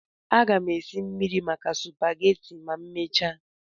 Aga m esi mmiri maka supageti ma emechaa.